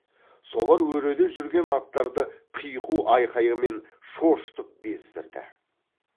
солар өреде жүрген аттарды қиқу айқайымен шошытып бездірді